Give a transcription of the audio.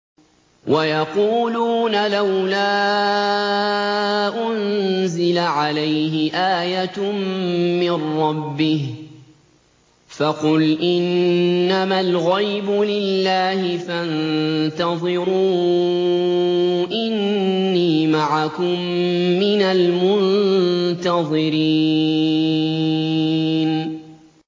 وَيَقُولُونَ لَوْلَا أُنزِلَ عَلَيْهِ آيَةٌ مِّن رَّبِّهِ ۖ فَقُلْ إِنَّمَا الْغَيْبُ لِلَّهِ فَانتَظِرُوا إِنِّي مَعَكُم مِّنَ الْمُنتَظِرِينَ